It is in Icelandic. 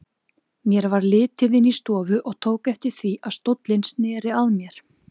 Mér varð litið inn í stofu og tók eftir því að stóllinn sneri að mér.